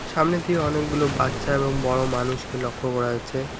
সামনের দিকে অনেকগুলো বাচ্চা এবং বড় মানুষকে লক্ষ্য করা যাচ্ছে।